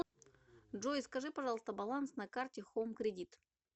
джой скажи пожалуйста баланс на карте хоум кредит